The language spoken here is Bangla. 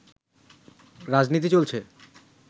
রাজনীতি চলছে